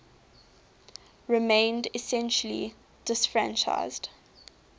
remained essentially disfranchised